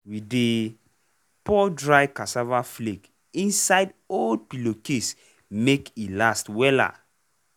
we dey pour dry cassava flake inside old pillowcase make e last wella.